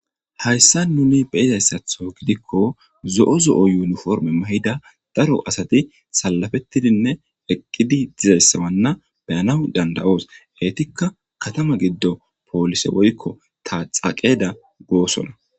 hayssa nuni beyizayssatho gidikko zo7o zo7o yuuniforme ma7ida daro asati salafettidinne eqqidi dizayssawanna beyana danda7oos eetikka katama giddo poolise woykko taxaqeeda goosona